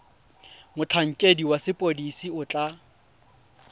motlhankedi wa sepodisi o tla